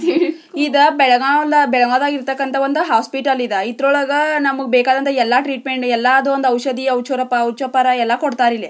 ಇದು ಬೆಳಗಾಂದ ಬೆಳಗಾಂದಾಗ್ ಇರತಕಂತ ಒಂದು ಹಾಸ್ಪಿಟಲ್ ಇದ ಇದ್ರೊಳಗಾ ನಮಗ್ ಬೆಕ್ಕಾಗಿರುವ ಎಲ್ಲ ಟ್ರೀಟ್ಮೆಂಟ್ ಎಲ್ಲಾದು ಒಂದ್ ಔಷದಿ ಒಚರಪ ಒಚಪರ ಎಲ್ಲಾ ಕೊಡ್ತಾರಾ ಇಲ್ಲಿ --